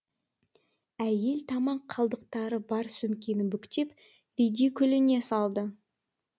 әйел тамақ қалдықтары бар сөмкені бүктеп ридикүліне салды